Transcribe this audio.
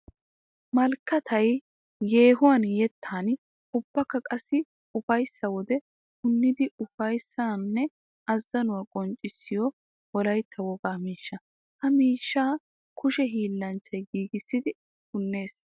Malkkatay yeehuwan yettan ubbakka qassi ufayssa wode punniddi ufayssanne azzanuwa qonccissiyo wolaytta wogaa miishsha. Ha miishsha kushe hiillanchchay giigissidi punnees.